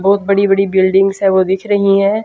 बहुत बड़ी बड़ी बिल्डिंग्स हैं वो दिख रही हैं।